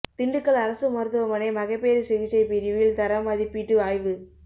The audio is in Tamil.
திண்டுக்கல் அரசு மருத்துவமனை மகப்பேறு சிகிச்சைப் பிரிவில் தர மதீப்பீட்டு ஆய்வு